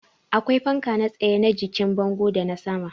Akwai fanka na tsaye, na jikin bango da na sama